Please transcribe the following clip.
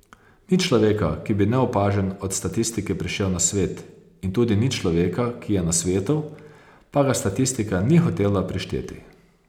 Ni človeka, ki bi neopažen od statistike prišel na svet, in tudi ni človeka, ki je na svetu, pa ga statistika ni hotela prišteti.